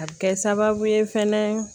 A bɛ kɛ sababu ye fɛnɛ